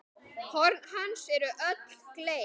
Horn hans eru öll gleið.